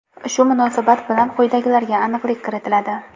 Shu munosabat bilan quyidagilarga aniqlik kiritiladi.